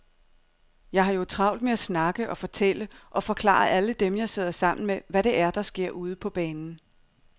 Jeg har jo travlt med at snakke og fortælle og forklare alle dem, jeg sidder sammen med, hvad det er, der sker ude på banen.